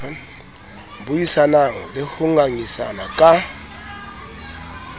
buisanang le ho ngangisana ka